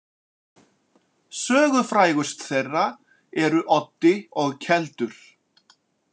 Sögufrægust þeirra eru Oddi og Keldur.